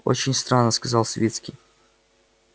очень странно сказал свицкий